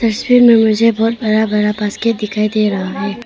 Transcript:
तस्वीर में मुझे बहुत बड़ा बड़ा बास्केट दिखाई दे रहा है।